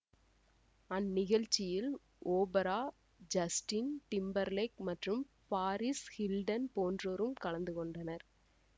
அந்நிகழ்ச்சியில் Oprah Justin Timberlake மற்றும் Paris Hilton போன்றோரும் கலந்து கொண்டனர்